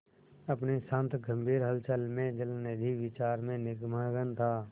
अपनी शांत गंभीर हलचल में जलनिधि विचार में निमग्न था